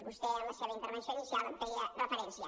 vostè en la seva intervenció inicial hi feia referència